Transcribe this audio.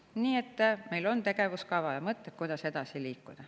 Nii et meil on tegevuskava ja mõtted, kuidas edasi liikuda.